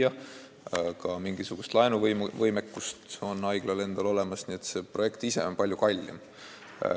Haiglal on ka mingisugune laenuvõimekus olemas, kogu see projekt on palju kallim.